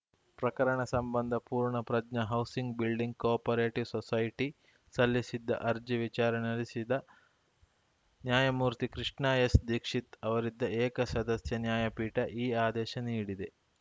ಪ್ರಕರಣ ಸಂಬಂಧ ಪೂರ್ಣ ಪ್ರಜ್ಞಾ ಹೌಸಿಂಗ್‌ ಬಿಲ್ಡಿಂಗ್‌ ಕೋಅಪರೇಟಿವ್‌ ಸೊಸೈಟಿ ಸಲ್ಲಿಸಿದ್ದ ಅರ್ಜಿ ವಿಚಾರಣೆ ನಡೆಸಿದ ನ್ಯಾಯಮೂರ್ತಿ ಕೃಷ್ಣ ಎಸ್‌ದೀಕ್ಷಿತ್‌ ಅವರಿದ್ದ ಏಕಸದಸ್ಯ ನ್ಯಾಯಪೀಠ ಈ ಆದೇಶ ನೀಡಿದೆ